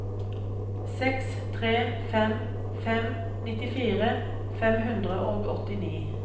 seks tre fem fem nittifire fem hundre og åttini